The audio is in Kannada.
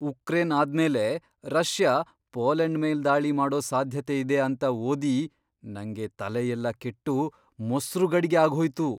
ಉಕ್ರೇನ್ ಆದ್ಮೇಲೆ ರಷ್ಯಾ ಪೋಲೆಂಡ್ ಮೇಲ್ ದಾಳಿ ಮಾಡೋ ಸಾಧ್ಯತೆಯಿದೆ ಅಂತ ಓದಿ ನಂಗೆ ತಲೆಯೆಲ್ಲ ಕೆಟ್ಟು ಮೊಸ್ರು ಗಡಿಗೆ ಆಗ್ಹೋಯ್ತು.